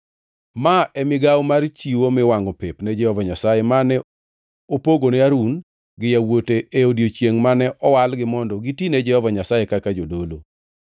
Ma e migawo mar chiwo miwangʼo pep ne Jehova Nyasaye mane opogone Harun gi yawuote e odiechiengʼ mane owalgi mondo gitine Jehova Nyasaye kaka jodolo.